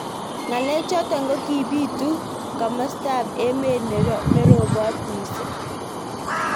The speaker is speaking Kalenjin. Ngalek chotok kokibitu kimosta ab emet nerobot missing.